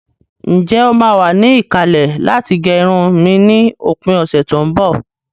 Ǹjẹ́ o máa wà ní ìkàlẹ̀ láti gẹ irun mi ni òpin ọ̀sẹ̀ tó ń bọ̀?